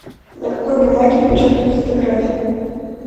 на какой бумаге печатают фотографии